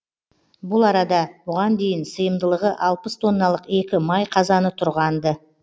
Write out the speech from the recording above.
бұл арада бұған дейін сыйымдылығы алпыс тонналық екі май қазаны тұрған ды